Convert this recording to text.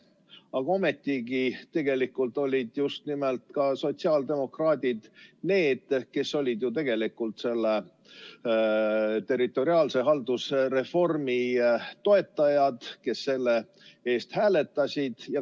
Aga ometi olid ka sotsiaaldemokraadid need, kes tegelikult ju seda territoriaalset haldusreformi toetasid, kes selle poolt hääletasid.